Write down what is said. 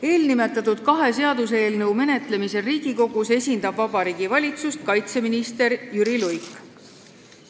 Eelnimetatud kahe seaduseelnõu menetlemisel Riigikogus esindab Vabariigi Valitsust kaitseminister Jüri Luik.